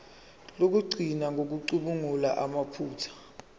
lokugcina ngokucubungula amaphutha